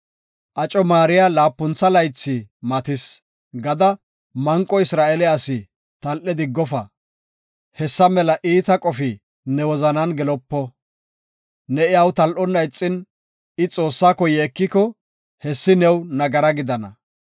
“Aco maariya laapuntha laythi matis” gada, manqo Isra7eele asi tal7e diggofa; hessa mela iita qofi ne wozanan gelopo. Ne iyaw tal7onna ixin, I Xoossako yeekiko, hessi new nagara gidana.